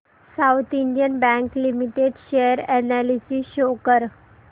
south Indian Bank Limited share analysis show कर